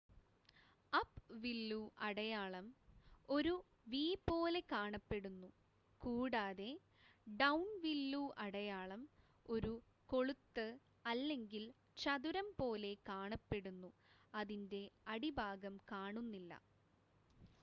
"""അപ്-വില്ലു" അടയാളം ഒരു വി പോലെ കാണപ്പെടുന്നു കൂടാതെ "ഡൌൺ-വില്ലു അടയാളം" ഒരു കൊളുത്ത് അല്ലെങ്കിൽ ചതുരം പോലെ കാണപ്പെടുന്നു അതിന്റെ അടിഭാഗം കാണുന്നില്ല.